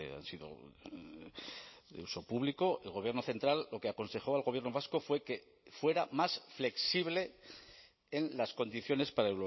han sido de uso público el gobierno central lo que aconsejó al gobierno vasco fue que fuera más flexible en las condiciones para